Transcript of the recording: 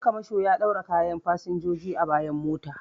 Dan kamasho ya ɗaura kayan fasinjoji a bayan mota